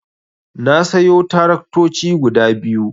Na sayo taraktoci guda biyu.